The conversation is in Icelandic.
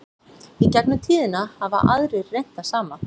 í gegnum tíðina hafa aðrir reynt það sama